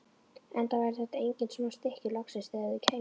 Enda væru þetta engin smá stykki, loksins þegar þau kæmu.